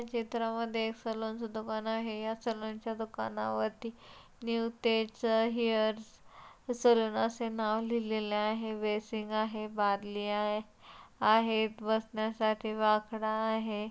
चित्रा मधे सलून चा दुकान आहे सलून चा दुकाना वरती न्यू तेज हेअर सलून अस नाव लिहले ले आहे बेसिंग आहे बादली आहे बसन्या साठी बाकड़ा आहे.